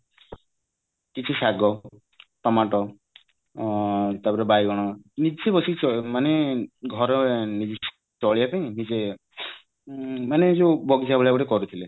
କିଛି ଶାଗ ଟମାଟ ତାପରେ ବାଇଗଣ ନିଜେ ବସିକି ମାନେ ଘରେ ତଳି ପକେଇ ନିଜେ ମାନେ ଏ ଯୋଉ ବଗିଚା ଭଳିଆ ଗୋଟେ କରିଥିଲେ